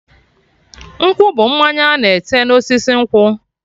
Nkwụ bụ mmanya ana ete na osisi nkwụ